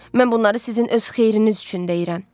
Mən bunları sizin öz xeyriniz üçün deyirəm.